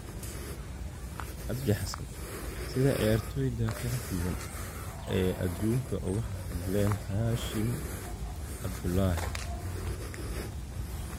Cabdi xassan: Sida ciyaartoyda kala duwan ee adduunka uga hadleen Xashim Cabdullaxi.